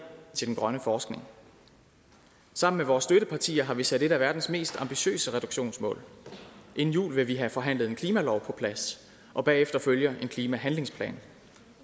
til den grønne forskning sammen med vores støttepartier har vi sat et af verdens mest ambitiøse reduktionsmål og inden jul vil vi have forhandlet en klimalov på plads og bagefter følger en klimahandlingsplan